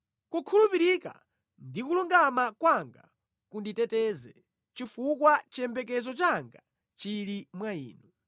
Kukhulupirika ndi kulungama kwanga kunditeteze, chifukwa chiyembekezo changa chili mwa Inu.